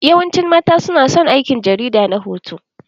Yawancin mata su na son aikin jarida na hoto.